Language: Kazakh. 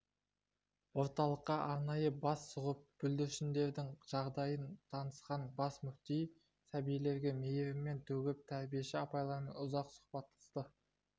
орталыққа арнайы бас сұғып бүлдіршіндердің жағдайымен танысқан бас мүфти сәбилерге мейірімін төгіп тәрбиеші апайлармен ұзақ сұхбаттасты